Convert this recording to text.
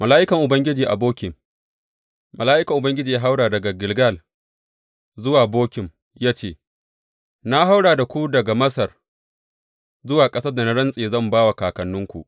Mala’ikan Ubangiji a Bokim Mala’ikan Ubangiji ya haura daga Gilgal zuwa Bokim ya ce, Na hauro da ku daga Masar zuwa ƙasar da na rantse zan ba wa kakanninku.